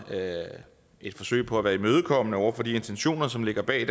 et forsøg på at være imødekommende over for de intentioner som lå bag